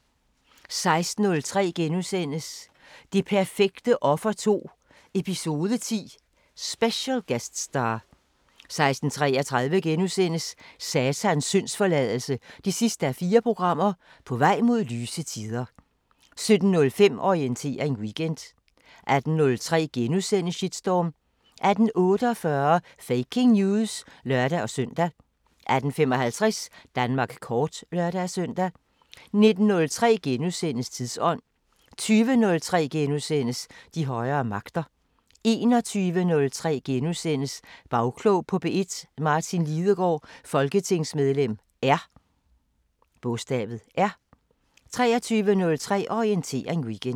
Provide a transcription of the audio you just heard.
16:03: Det perfekte offer 2 – Eps. 10 – "Special guest star" * 16:33: Satans syndsforladelse 4:4 – På vej mod lyse tider * 17:05: Orientering Weekend 18:03: Shitstorm * 18:48: Faking News! (lør-søn) 18:55: Danmark kort (lør-søn) 19:03: Tidsånd * 20:03: De højere magter * 21:03: Bagklog på P1: Martin Lidegaard, folketingsmedlem R * 23:03: Orientering Weekend